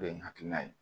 O de ye n hakilina ye